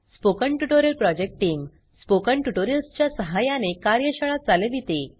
spoken tutorial project team spoken tutorials च्या सहाय्याने कार्यशाळा चालविते